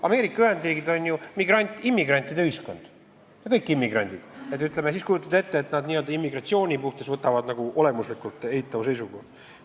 Ameerika Ühendriigid on ju immigrantide ühiskond, nad on kõik immigrandid, kujutage ette, et nad immigratsiooni suhtes võtavad olemuslikult eitava seisukoha.